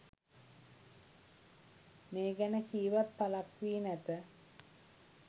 මේ ගැන කීවත් පළක් වී නැත